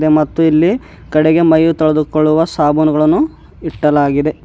ಮತ್ತು ಇಲ್ಲಿ ಕಡೆಗೆ ಮೈ ತೊಳೆದುಕೊಳ್ಳುವ ಸಾಬೂನುಗಳನ್ನು ಇಟ್ಟಲಾಗಿದೆ.